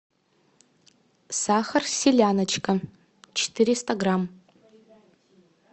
сахар селяночка четыреста грамм